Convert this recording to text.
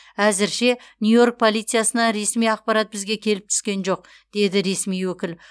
әзірше нью йорк полициясынан ресми ақпарат бізге келіп түскен жоқ деді ресми өкіл